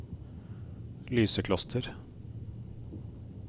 Lysekloster